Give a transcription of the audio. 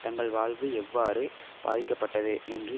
தங்கள் வாழ்வு எவ்வாறு பாதிக்கப்பட்டது என்று